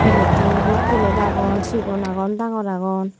platetun dup plate agon sigon agon dangor agon.